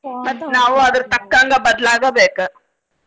ಮತ್ತ್ ನಾವು ಅದರ ತಕ್ಕಂಗ ಬದ್ಲಾಗಬೇಕ.